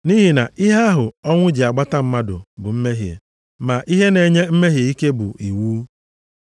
Nʼihi na ihe ahụ ọnwụ ji agbata mmadụ bụ mmehie, ma ihe na-enye mmehie ike bụ iwu.